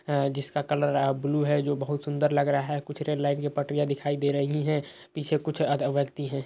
हैं जिसका colour uh blue है जो बहोत सुंदर लग रहा है। कुछ रेल लाइट की पटरियाँ दिखाई दे रही हैं। पीछे कुछ अदर व्यक्ति हैं।